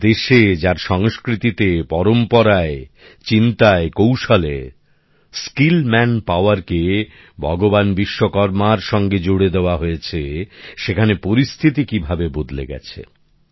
যে দেশে যার সংস্কৃতিতে পরম্পরায় চিন্তায় কৌশলে দক্ষ মানব সম্পদকে ভগবান বিশ্বকর্মার সাথে জুড়ে দেওয়া হয়েছে সেখানে পরিস্থিতি কিভাবে বদলে গেছে